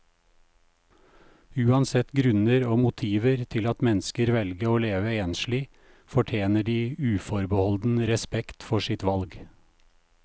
Uansett grunner og motiver til at mennesker velger å leve enslig, fortjener de uforbeholden respekt for sitt valg.